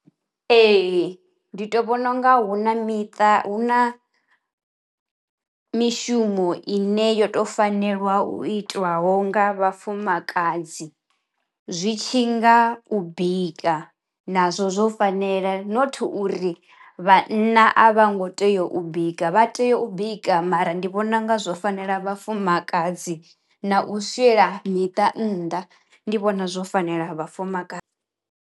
Ee ndi to vhona unga hu na miṱa hu na mishumo ine yo to fanelwa u itiwaho nga vhafumakadzi. Zwi tshi nga u bika nazwo zwo fanela not uri vhanna a vha ngo tea u bika vha tea u bika mara ndi vhona unga zwo fanela vhafumakadzi na u swiela miṱa nnḓa ndi vhona zwo fanela vhafumakadzi.